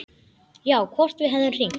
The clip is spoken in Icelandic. Já, hvort við hefðum hringt.